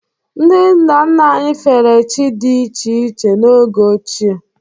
Ndị nna nna anyị fere chi dị iche iche n’oge ochie.